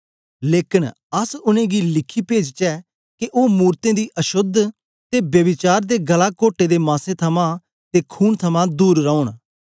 लेकन अस उनेंगी लिखी पेजचै के ओ मूरतें दी अशोद्ध ते ब्यभिचार ते गला कोटे दे मांसे थमां ते खून थमां दूर रौन